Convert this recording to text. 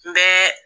N bɛ